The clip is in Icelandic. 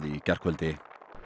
í gærkvöldi